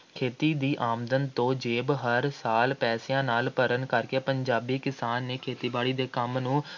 ਖੇਤੀ ਦੀ ਆਮਦਨ ਤੋਂ ਜੇਬ ਹਰ ਸਾਲ ਪੈਸਿਆਂ ਨਾਲ ਭਰਨ ਕਰਕੇ ਪੰਜਾਬੀ ਕਿਸਾਨ ਨੇ ਖੇਤੀਬਾੜੀ ਦੇ ਕੰਮ ਨੂੰ